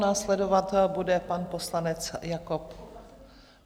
Následovat bude pan poslanec Jakob.